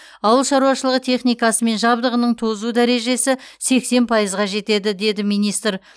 ауыл шаруашылығы техникасы мен жабдығының тозу дәрежесі сексен пайызға жетеді деді министр